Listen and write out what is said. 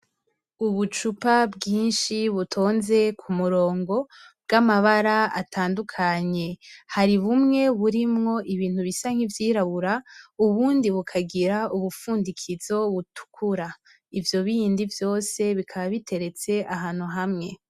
Ubucupa bwinshi butonze ku murongo bw'amabara atandukanye. Hari bumwe burimwo ibintu bisa nk'ivyirabura ubundi bukagira ubufundikizo butukura. Ivyo bindi vyose bikaba biteretse ahantu hamwe.